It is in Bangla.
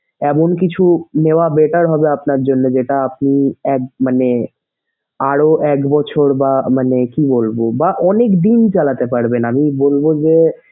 এমন কিছু নেওয়া better হবে আপনার জন্যে যেটা আপনি এক মানে আরও এক বছর বা মানে কি বলবো বা অনেকদিন চালাতে পারবেন আমি বলবো যে,